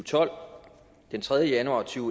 tolv og den tredje januar to